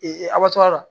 abasa la